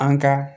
An ka